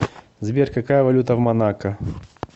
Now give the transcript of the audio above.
сбер какая валюта в монако